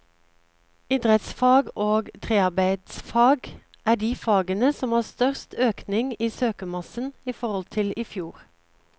Idrettsfag og trearbeidsfag er de fagene som har størst økning i søkermassen i forhold til i fjor.